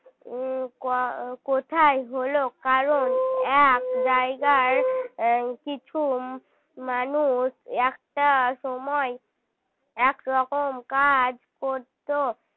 উম ক~ কোথায় হল কারণ এক জায়গায় কিছু মানুষ একটা সময় এক রকম কাজ করত